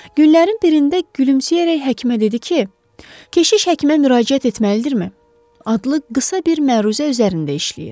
Günlərin birində gülümsəyərək həkimə dedi ki, "Keşiş həkimə müraciət etməlidirmi?" adlı qısa bir məruzə üzərində işləyir.